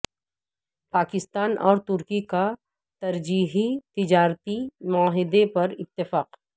پاکستان اور ترکی کا ترجیحی تجارتی معاہدے پر اتفاق